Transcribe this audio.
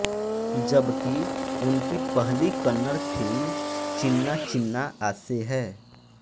जबकि उनकी पहली कन्नड़ फिल्म चिन्ना चिन्ना आसे है